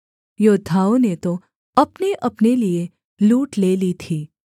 योद्धाओं ने तो अपनेअपने लिये लूट ले ली थी